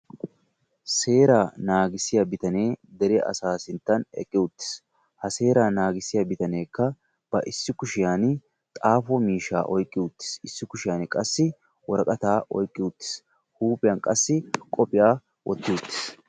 Seeraa naagissiya bitanee dere asaa sinttan eqqi uttis. Ha seeraa naagissiya bitaneekka ba issi kushiyaani xaafo miishshaa oyiqqi uttis. Issi kushiyaani qassi woraqataa oyiqqi uttis. Huuphiyan qassi qophiya wotti uttis.